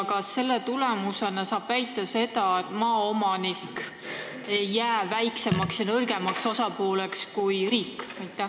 Kas selle tulemusena saab väita, et maaomanik ei jää nõrgemaks osapooleks kui riik?